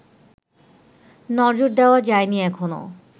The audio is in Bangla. নজর দেয়া যায়নি এখনও